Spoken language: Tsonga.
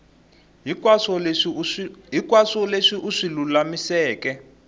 hinkwaswo leswi u swi lulamiseke